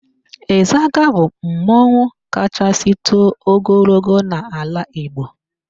Ịzaga bụ mmanwụ kachasị too ogologo n'ala Igbo